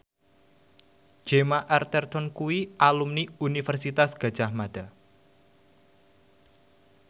Gemma Arterton kuwi alumni Universitas Gadjah Mada